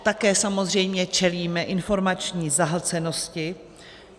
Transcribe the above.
Také samozřejmě čelíme informační zahlcenosti.